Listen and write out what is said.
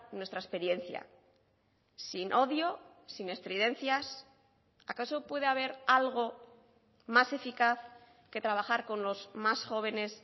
nuestra experiencia sin odio sin estridencias acaso puede haber algo más eficaz que trabajar con los más jóvenes